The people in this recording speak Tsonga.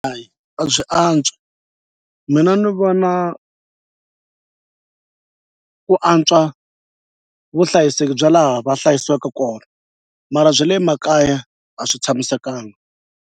Hayi a byi antswa mina ni vona ku antswa vuhlayiseki bya laha va hlayisiwaka kona mara bya le makaya a swi tshamisekanga.